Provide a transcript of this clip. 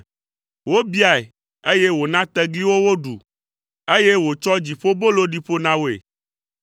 Wobiae, eye wòna tegliwo woɖu, eye wòtsɔ dziƒobolo ɖi ƒo na woe.